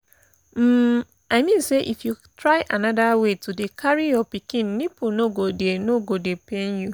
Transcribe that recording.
um i mean say if you try another way to dey carry your pikin nipple no go dey no go dey pain you